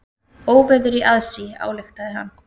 Óveður í aðsigi, ályktaði hann.